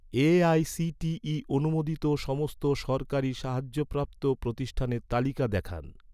AICTE অনুমোদিত সমস্ত সরকারি সাহায্যপ্রাপ্ত প্রতিষ্ঠানের তালিকা দেখান